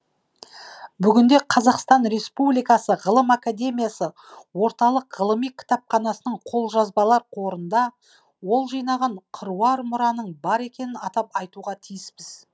бүгінде қазақстан республикасы ғылым академиясы орталық ғылыми кітапханасының қолжазбалар қорында ол жинаған қыруар мұраның бар екенін атап айтуға тиіспіз